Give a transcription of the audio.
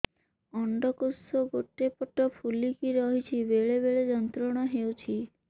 ଅଣ୍ଡକୋଷ ଗୋଟେ ପଟ ଫୁଲିକି ରହଛି ବେଳେ ବେଳେ ଯନ୍ତ୍ରଣା ହେଉଛି